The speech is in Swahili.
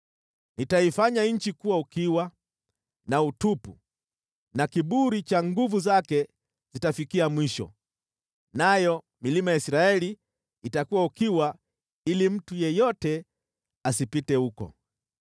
Nitaifanya nchi kuwa ukiwa na utupu na kiburi cha nguvu zake zitafikia mwisho, nayo milima ya Israeli itakuwa ukiwa ili mtu yeyote asipite huko.